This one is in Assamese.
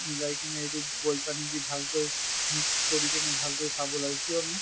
মিলাই কিনে এইটো boil পানী দি ভাল কৈ mix কৰি কিনে ভাল কৈ খাব লাগে। কিয়্নো